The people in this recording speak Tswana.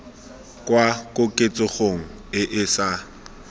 kwa koketsegong e e sa